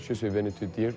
je